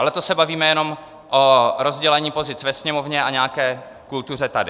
Ale to se bavíme jenom o rozdělení pozic ve Sněmovně a nějaké kultuře tady.